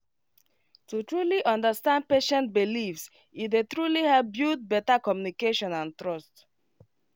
to truly understand patient beliefs e dey truly help build better communication and trust